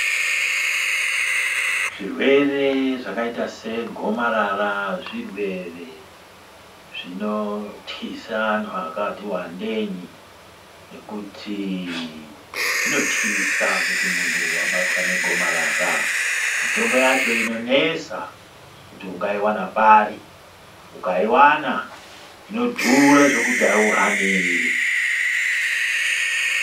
Zvirwere zvakaita segomarara, zvirwere zvinotyisa anhu akati wandei nekuti zvinotyisa kuti munhu wabatwa negomarara. Mitombo yacho inonesa kuti ungaiwana pari. Ukaiwana inodhura zvekuti hauhaniri.